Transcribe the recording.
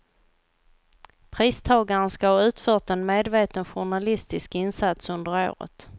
Pristagaren ska ha utfört en medveten journalistisk insats under året.